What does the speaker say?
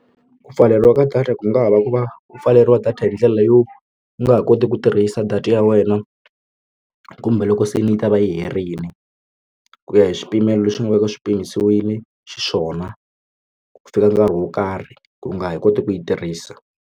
Ku pfaleriwa ka data ku nga va ku va ku pfaleriwa data hi ndlela yo u nga ha koti ku tirhisa data ya wena kumbe loko se ni yi ta va yi herile ku ya hi swipimelo lexi nga veka swi mpimiwile xiswona ku fika nkarhi wo karhi ku nga ha koti ku yi tirhisa.